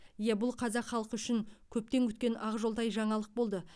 иә бұл қазақ халқы үшін көптен күткен ақжолтай жаңалық болды